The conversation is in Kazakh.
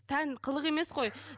тән қылық емес қой